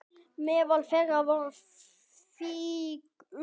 Meðal þeirra voru fígúrur úr